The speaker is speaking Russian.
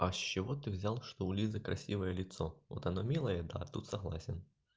а с чего ты взял что у лизы красивое лицо вот она милая да тут согласен